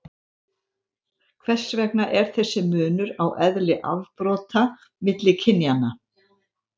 hvers vegna er þessi munur á eðli afbrota milli kynjanna